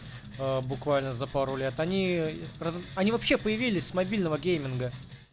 а буквально за пару лет они раз они вообще появились с мобильного гейминга